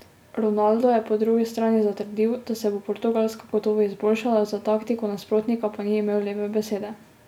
Ronaldo je po drugi strani zatrdil, da se bo Portugalska gotovo izboljšala, za taktiko nasprotnika pa ni imel lepe besede.